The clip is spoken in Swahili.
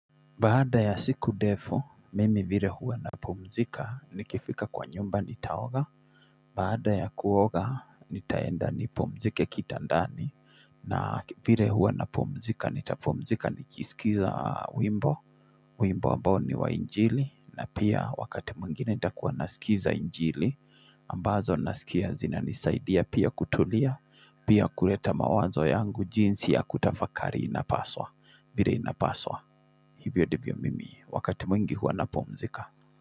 Baada ya siku ndefu, mimi vile huwa napumzika ni kifika kwa nyumba ni taoga. Baada ya kuoga ni taenda ni pumzike kitandani na vile huwa napumzika ni tapumzika ni kisilikiza wimbo. Wimbo ambao ni wa injili na pia wakati mwingine nitakuwa nasikiliza injili ambazo nasikia zina nisaidia pia kutulia pia kuleta mawazo yangu jinsi ya kutafakari inapaswa vile inapaswa. Hivyo ndivyo mimi, wakati mwingi huwa na pumzika.